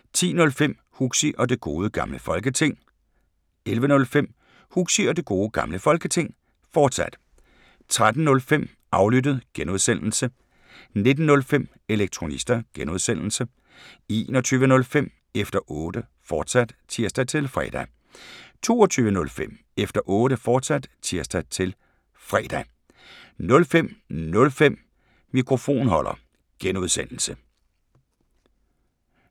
10:05: Huxi og Det Gode Gamle Folketing 11:05: Huxi og Det Gode Gamle Folketing, fortsat 13:05: Aflyttet G) 19:05: Elektronista (G) 21:05: Efter Otte, fortsat (tir-fre) 22:05: Efter Otte, fortsat (tir-fre) 05:05: Mikrofonholder (G)